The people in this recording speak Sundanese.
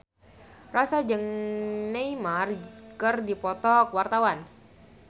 Rossa jeung Neymar keur dipoto ku wartawan